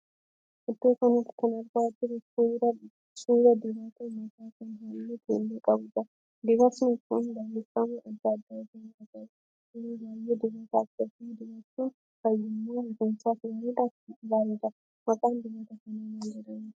Iddoo kanatti kan argaa jirru suuraa dibata mataa kan halluu keelloo qabuudha. Dibatni kun barreeffama adda adda ofi irraa qaba. Yeroo baay'ee dibata akkasii dibachuun fayyummaa rifeensaaf gaariidha. maqaan dibata kanaa maal jedhama?